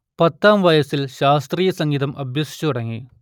പത്താം വയസിൽ ശാസ്ത്രീയ സംഗീതം അഭ്യസിച്ചു തുടങ്ങി